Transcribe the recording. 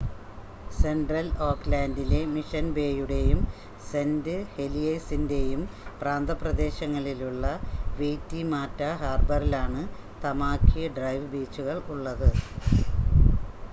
central ഓക്ക്‌ലാൻഡിലെ Mission ബേയുടെയും Saint ഹെലിയേഴ്‌സിൻ്റെയും പ്രാന്തപ്രദേശങ്ങളിലുള്ള വെയിറ്റിമാറ്റ ഹാർബറിലാണ് തമാകി ഡ്രൈവ് ബീച്ചുകൾ ഉള്ളത്